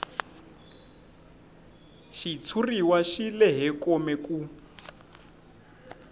xitshuriwa xi lehe kome ku